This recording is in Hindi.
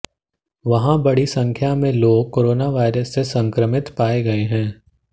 वहां बड़ी संख्या में लोग कोरोना वायरस से संक्रमित पाए गए हैं